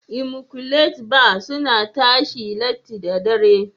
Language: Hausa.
"immaculate bar" suna tashi latti da dare.